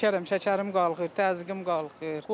Şəkərəm, şəkərim qalxır, təzyiqim qalxır.